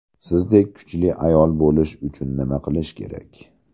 Sizdek kuchli ayol bo‘lish uchun nima qilish kerak?